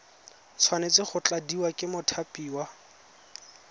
tshwanetse go tladiwa ke mothapiwa